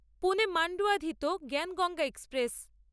পুনে মান্ডোয়াধিত জ্ঞানগঙ্গা এক্সপ্রেস